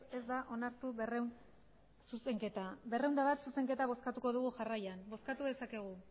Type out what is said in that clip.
ez da onartu berrehun zuzenketa berrehun eta bat zuzenketa bozkatuko dugu jarraian bozkatu dezakegu